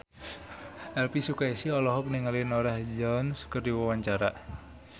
Elvi Sukaesih olohok ningali Norah Jones keur diwawancara